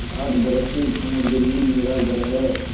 आठ बरस से समुद्र ही मेरा घर है